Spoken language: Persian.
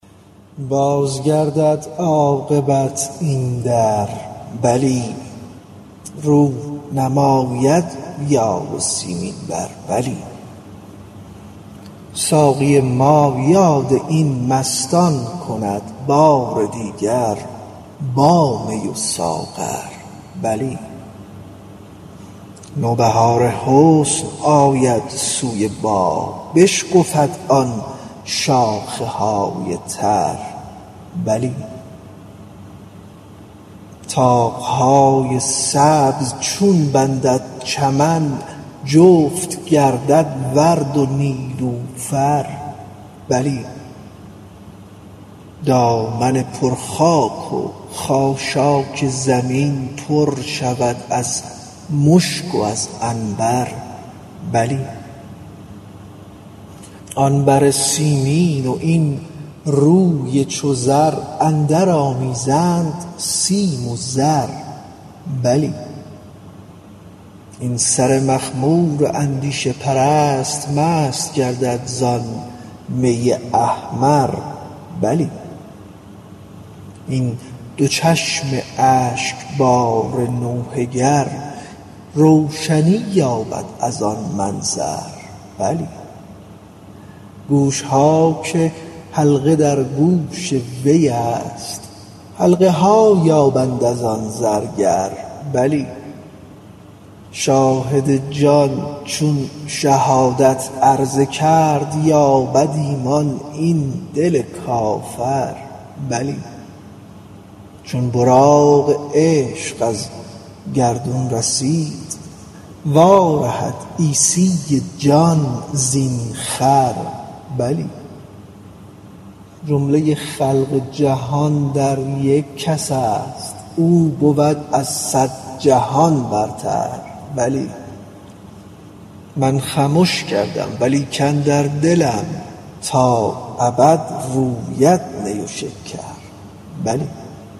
باز گردد عاقبت این در بلی رو نماید یار سیمین بر بلی ساقی ما یاد این مستان کند بار دیگر با می و ساغر بلی نوبهار حسن آید سوی باغ بشکفد آن شاخه های تر بلی طاق های سبز چون بندد چمن جفت گردد ورد و نیلوفر بلی دامن پر خاک و خاشاک زمین پر شود از مشک و از عنبر بلی آن بر سیمین و این روی چو زر اندرآمیزند سیم و زر بلی این سر مخمور اندیشه پرست مست گردد زان می احمر بلی این دو چشم اشکبار نوحه گر روشنی یابد از آن منظر بلی گوش ها که حلقه در گوش وی است حلقه ها یابند از آن زرگر بلی شاهد جان چون شهادت عرضه کرد یابد ایمان این دل کافر بلی چون براق عشق از گردون رسید وارهد عیسی جان زین خر بلی جمله خلق جهان در یک کس است او بود از صد جهان بهتر بلی من خمش کردم و لیکن در دلم تا ابد روید نی و شکر بلی